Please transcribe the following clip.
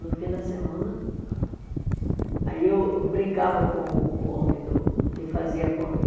No fim da semana, aí eu brincava com o homem do que fazia a conta.